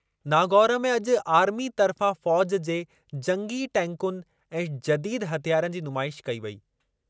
नागौर में अॼु आर्मी तर्फ़ा फ़ौज़ जे जंगी टैंकुनि ऐं जदीद हथियारनि जी नुमाइश कई वेई।